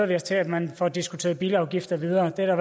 vi os til at man får diskuteret bilafgifter videre det er der